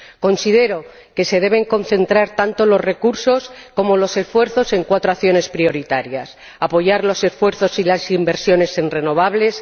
Considero que se deben concentrar tanto los recursos como los esfuerzos en cuatro acciones prioritarias apoyar los esfuerzos y las inversiones en renovables